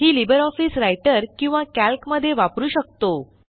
ही LibreOffice Writer किंवा Calc मध्ये वापरू शकतो